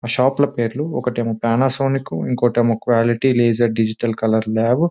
ఆ షాప్ ల పేర్లు ఒకటేమో పానాసోనిక్ ఇంకోటేమో క్వాలిటీ లేగర్ డిజిటల్ కలర్ లాబు .